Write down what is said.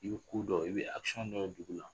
I bi ko dɔw, i bi dɔ ye dugu la